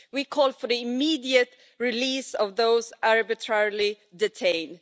We call for the immediate release of those arbitrarily detained.